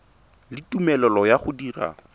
le tumelelo ya go dira